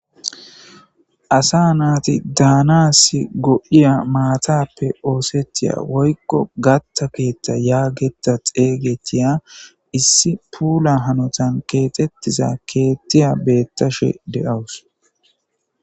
asa naati daanasi godiya maatappe oosethiya woykko gatta keethta yaageta xeygetiya issi puula hanotan keexttizaa keettiya beettashe de7awus